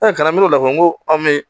kana n'o lafili n'o an bɛ